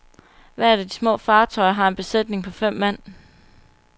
Hvert af de små fartøjer har en besætning på fem mand.